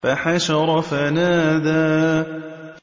فَحَشَرَ فَنَادَىٰ